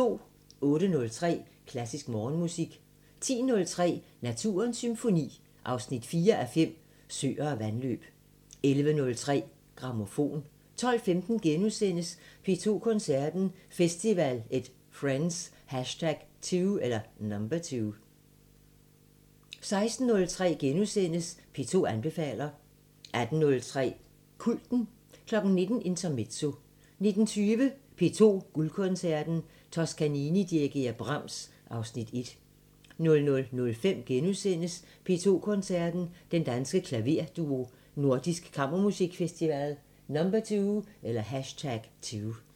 08:03: Klassisk Morgenmusik 10:03: Naturens Symfoni 4:5 – Søer og vandløb 11:03: Grammofon 12:15: P2 Koncerten – Festival & Friends #2 * 16:03: P2 anbefaler * 18:03: Kulten 19:00: Intermezzo 19:20: P2 Guldkoncerten – Toscanini dirigerer Brahms, (Afs. 1) 00:05: P2 Koncerten – Den Danske Klaverduo – Nordisk Kammermusikfestival #2 *